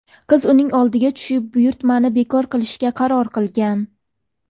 Qiz uning oldiga tushib buyurtmani bekor qilishga qaror qilgan.